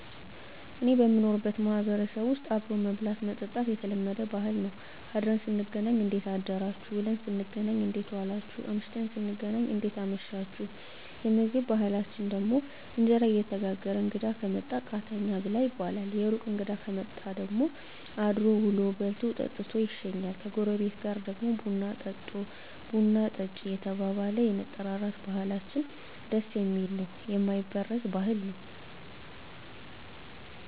እኔ በምኖርበት ማህበረሰብ ዉስጥ አብሮ መብላት መጠጣት የተለመደ ባህል ነዉ አድረን ስንገናኝ እንዴት አደራችሁ ዉለን ስንገናኝ እንዴት ዋላችሁ አምሽተን ስንገናኝ እንዴት አመሻችሁየምግብ ባህላችን ደግሞ እንጀራ እየተጋገረ እንግዳ ከመጣ ቃተኛ ብላ ይባላል የሩቅ እንግዳ ከመጣ ደግሞ አድሮ ዉሎ በልቶ ጠጥቶ ይሸኛል ከጎረቤት ጋር ደግሞ ቡና ጠጦ ቡና ጠጭ እየተባባለ የመጠራራት ባህላችን ደስ የሚል ነዉ የማይበረዝ ባህል ነዉ